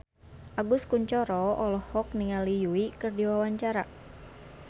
Agus Kuncoro olohok ningali Yui keur diwawancara